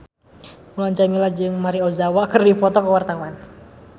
Mulan Jameela jeung Maria Ozawa keur dipoto ku wartawan